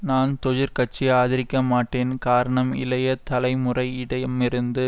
நான் தொஜிற் கட்சியை ஆதரிக்கமாட்டேன் காரணம் இளைய தலைமுறையிடமிருந்து